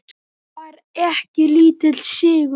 Það var ekki lítill sigur!